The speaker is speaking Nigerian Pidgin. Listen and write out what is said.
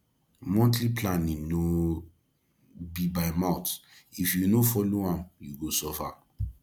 monthly planning no be by mouth if you no follow am you go suffer